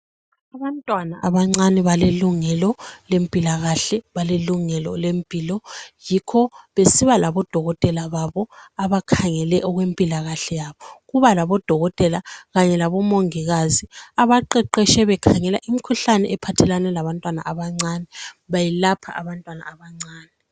abantwana abancane balelungelo lempilakahle balelungelo lempilo yikh besiba labo dokotela babo abakhangele okwempilakahle yabo kuba labodokotela kanye labo mongikazi abaqeqetshe bekhangela imkhuhlane ephathelane labantwana abancane bayelapha abantwana abancane